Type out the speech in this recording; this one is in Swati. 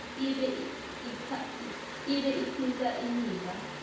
ibe itsintsa imiva